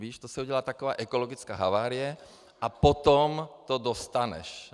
Víš, to se udělá taková ekologická havárie a potom to dostaneš.